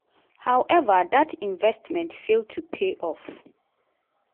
howeva dat investment fail to pay off.